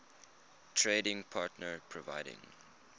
trading partner providing